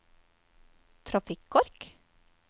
trafikkork